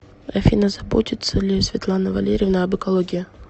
афина заботится ли светлана валерьевна об экологии